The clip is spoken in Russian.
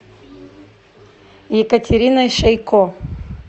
екатериной шейко